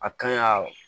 A kan ka